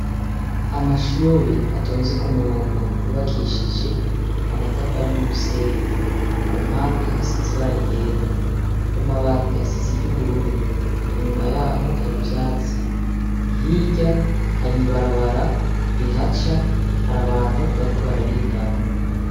Amashure atonze kumurongo yubakishije amatafari numusenyi kumpande hasize ibara ryera kumabati hasize iryubururu inyuma yaho hari ivyatsi hirya hari ibarabara rihaca harabantu bariko bararengana